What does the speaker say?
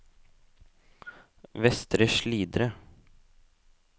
Vestre Slidre